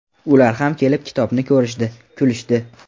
Ular ham kelib kitobni ko‘rishdi, kulishdi.